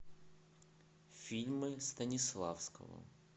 фильмы станиславского